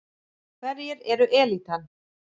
Hverjir eru elítan?